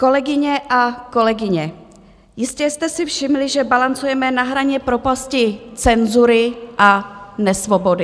Kolegyně a kolegové, jistě jste si všimli, že balancujeme na hraně propasti cenzury a nesvobody.